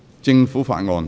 政府法案。